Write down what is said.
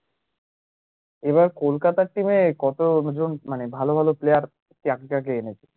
এবার কলকাতা তে কত মানে ভালো ভালো player এনেছে